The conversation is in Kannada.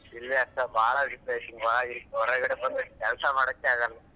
ಇಲ್ಲಿ ಸಾ ಬಾಳ ಬಿಸ್ಲೆದೆ ಹೊರ್ಗಡೆ ಬಂದ್ರೆ ಕೆಲಸ ಮಾಡೋಕ್ ಆಗಲ್ಲ.